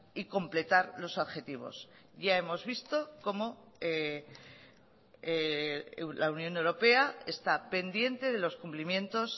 y completar los objetivos ya hemos visto como la unión europea está pendiente de los cumplimientos